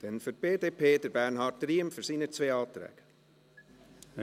Dann spricht Bernhard Riem für die beiden Anträge der BDP.